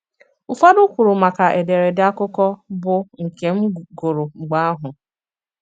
Ùfọdụ kwùrù maka èdèrèdè àkụ̀kọ, bụ́ nke m gụrụ mg̀bè àhụ̀.